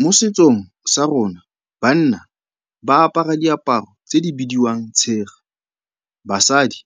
Mo setsong sa rona, banna ba apara diaparo tse di bidiwang tshega, basadi